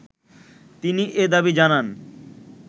তিনি এ দাবি জানান